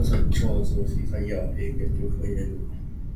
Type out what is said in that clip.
sosochoosuu fi fayyaa ofii eeggachuuf gargaarudha.